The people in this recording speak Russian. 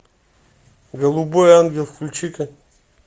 голубой ангел включи ка